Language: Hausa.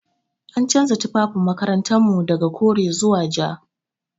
An canza tufafin makarantar mu daga kore zuwa ja.